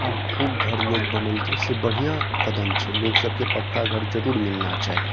अब खूब घर लोग बनएलके से बढ़िया कदम छे लोग सब के पक्का घर ज़रूर मिलना चाही।